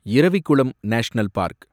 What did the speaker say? Eravikulam national park